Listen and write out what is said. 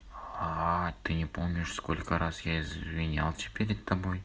а ты не помнишь сколько раз я извинялся перед тобой